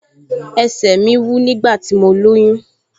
Ẹsẹ̀ mi wú nígbà tí mo lóyún